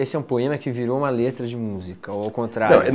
Esse é um poema que virou uma letra de música, ou ao contrário? Não